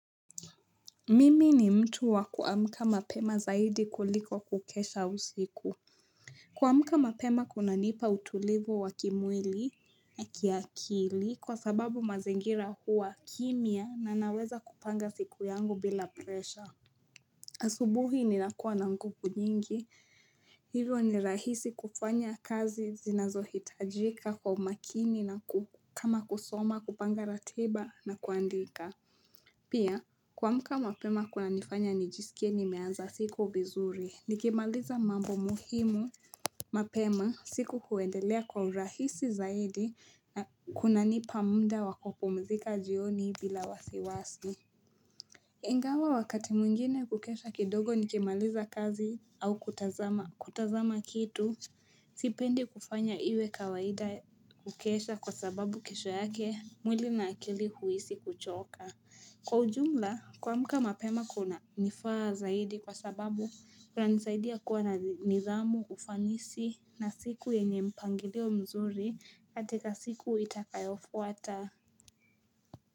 Mimi ni mtu wa kuamka mapema zaidi kuliko kukesha usiku. Kuamka mapema kunanipa utulivu wa kimwili na kiakili kwa sababu mazingira huwa kimya na naweza kupanga siku yangu bila presha. Asubuhi ninakua na nguvu nyingi. Hivyo ni rahisi kufanya kazi zinazo hitajika kwa umakini na kama kusoma kupanga ratiba na kuandika. Pia, kuamka mapema kunanifanya nijisikie nimeanza siku vizuri. Nikimaliza mambo muhimu mapema siku kuendelea kwa urahisi zaidi na kunanipa muda wakupumzika jioni bila wasiwasi. Ingawa wakati mwingine kukesha kidogo nikimaliza kazi au kutazama kitu. Sipendi kufanya iwe kawaida kukesha kwa sababu kesho yake mwili na akili kuhisi kuchoka. Kwa ujumla, kuamka mapema kunanifaa zaidi kwa sababu kunanisaidia kuwa na nidhamu, ufanisi na siku yenye mpangileo mzuri katika siku itakayofuata.